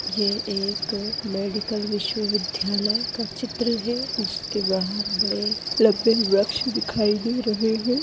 यह एक मेडिकल विश्वविध्यालय का चित्र है जिसके बाहर बड़े वृक्ष दिखाई दे रहे है।